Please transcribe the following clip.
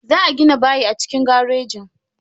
Za a gina bayi a cikin garejin.